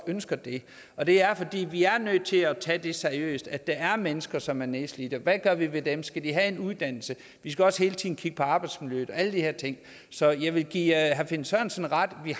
ønsker det og det er fordi vi er nødt til at tage seriøst at der er mennesker som er nedslidte hvad gør vi ved dem skal de have en uddannelse vi skal også hele tiden kigge på arbejdsmiljøet og alle de her ting så jeg vil give herre finn sørensen ret i at